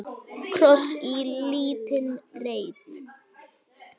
Kross í lítinn reit.